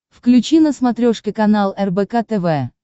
включи на смотрешке канал рбк тв